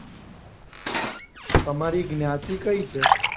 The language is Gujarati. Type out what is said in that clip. તમારી જ્ઞાતિ કઈ છે?